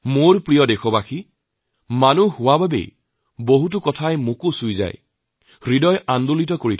মোৰ প্ৰিয় দেশবাসী এজন মানুহ হোৱাৰ খাতিৰতে বহুকেইটা দিশে মোৰ মনকো চুঁই গৈছে মোৰ অন্তৰত আন্দোলিত কৰে